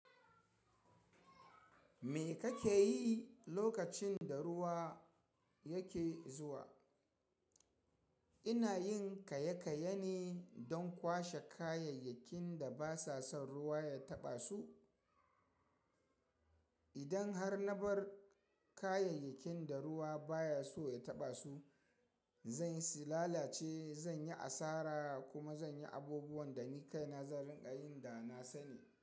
Me kake yi lokacin da ruwa yake zuwa? Ina yin kaye-kaye ne don kwashe kayayyakin da ba sa son ruwa ya taɓa su. Idan har na bar kayayyakin da ruwa baya so ya taɓa su, zan yi si lalace, zan yi asara, kuma zan yi abubuwan da ni kaina zan rinƙa yin da na sani.